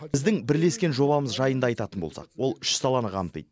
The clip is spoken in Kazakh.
біздің бірлескен жобамыз жайында айтатын болсақ ол үш саланы қамтиды